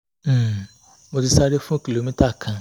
um mo ti sáré fún kìlómítà kan